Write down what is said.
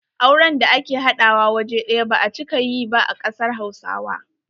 Auren da ake haɗawa waje ɗaya ba a cika yi ba a kasar hausawa.